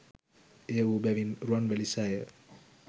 එය වූ බැවින් රුවන්වැලි සෑය